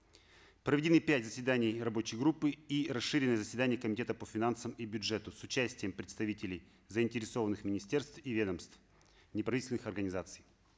проведены пять заседаний рабочей группы и расширены заседания комитета по финансам и бюджету с участием представителей заинтересованных министерств и ведомств неправительственных организаций